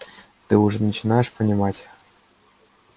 ты уже начинаешь понимать